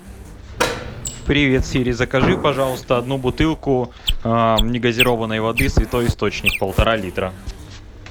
привет сири закажи пожалуйста одну бутылку негазированной воды святой источник полтора литра